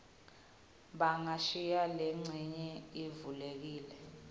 bangashiya lencenye ivulekile